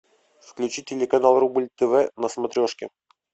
включи телеканал рубль тв на смотрешке